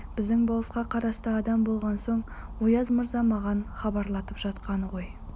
біздің болысқа қарасты адам болған соң ояз мырза маған хабарлатып жатқаны ғой